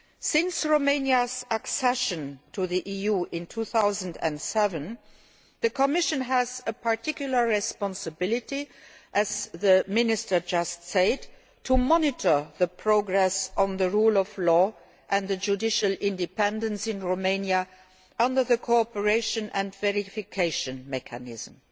Since Romania's accession to the EU in 2007, the Commission has a particular responsibility as the Minister has just said to monitor progress on the rule of law and the judicial independence in Romania under the cooperation and verification mechanism.